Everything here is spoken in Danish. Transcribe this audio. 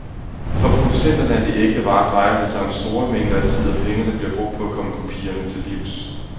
For producenterne af de ægte varer drejer det sig om store mængder tid og penge, der bliver brugt på at komme kopierne til livs.